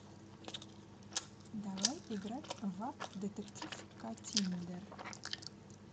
давай играть в апп детектив каттиндер